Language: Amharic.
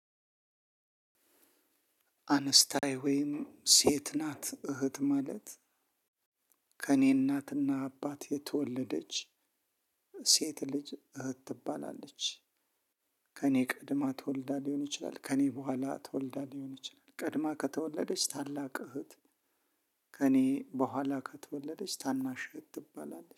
አንስታይ ወይም ሴት ናት እህት ማለት ከእኔ እናት እና አባት የተወለደች ሴ ሴት ልጅ እህት ትባላለች። ከእኔ ቀድማ ተወልዳ ሊሆን ይችላል ከኔ በኋላ ተወልዳ ሊሆን ይችላል ቀድማ ከተወለደች ታላቅ እህት። ከእኔ በኋላ ከተወለደች ታናሽ እህት ትባላለች